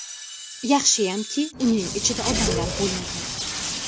Yaxshiyamki, uning ichida odamlar bo‘lmagan.